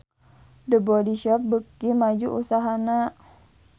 The Body Shop beuki maju usahana